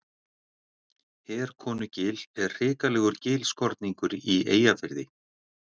Herkonugil er hrikalegur gilskorningur í Eyjafirði.